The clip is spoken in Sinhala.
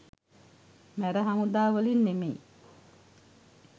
මැර හමුදා වලින් නෙමෙයි